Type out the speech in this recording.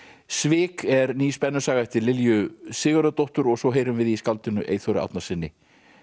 svik er ný spennusaga eftir Lilju Sigurðardóttur og svo heyrum við í skáldinu Eyþóri Árnasyni